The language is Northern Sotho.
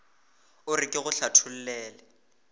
o re ke go hlathollele